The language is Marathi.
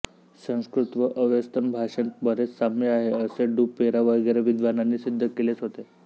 संस्कृत व अवेस्तन भाषेंत बरेंच साम्य आहे असे डू पेरा वगैरे विद्वानांनी सिद्ध केलेंच होते